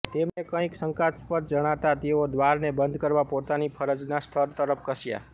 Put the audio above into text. તેમને કંઈક શંકાસ્પદ જણાતા તેઓ દ્વારને બંધ કરવા પોતાની ફરજના સ્થળ તરફ ધસ્યાં